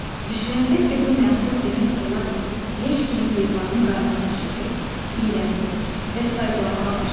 Düşünəndə ki, bu mənfur demək olar ki, leş kimi heyvanın qarnına düşəcək, iyrəndi və sayqlamağa başladı.